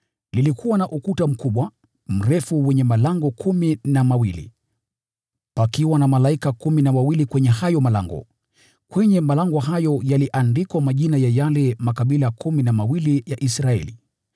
Ulikuwa na ukuta mkubwa, mrefu wenye malango kumi na mawili, pakiwa na malaika kumi na wawili kwenye hayo malango. Kwenye malango hayo yaliandikwa majina ya yale makabila kumi na mawili ya Israeli.